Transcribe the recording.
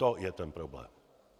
To je ten problém.